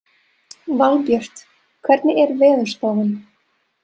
Valbjört, hvernig er veðurspáin?